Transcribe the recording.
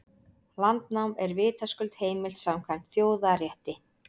Landnám er vitaskuld heimilt samkvæmt þjóðarétti.